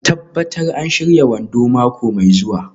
Tabbatar an shirya wando mako mai zuwa.